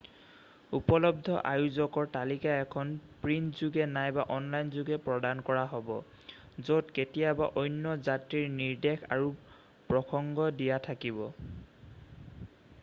উপলব্ধ আয়োজকৰ তালিকা এখন প্ৰিণ্টযোগে নাইবা অনলাইনযোগে প্ৰদান কৰা হ'ব য'ত কেতিয়াবা অন্য যাত্ৰীৰ নিৰ্দেশ আৰু প্ৰসংগ দিয়া থাকিব